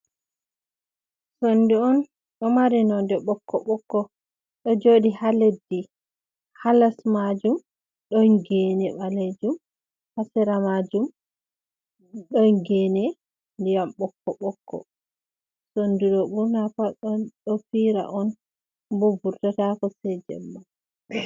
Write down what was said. sondu, on do mari nonde bokko bokko, do jodi ha leddi ,hales majum don gene balejum ,hasera majum don gene diyam bokko bokko ,sondu do burna pat don fira on ,bo vurtatako sei jemma.